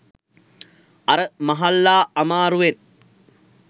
අර මහල්ලා අමාරුවෙන්